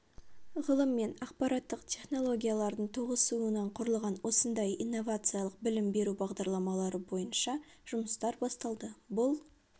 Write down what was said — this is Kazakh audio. ғылым мен ақпараттық технологиялардың тоғысуынан құрылған осындай инновациялық білім беру бағдарламалары бойынша жұмыстар басталды бұл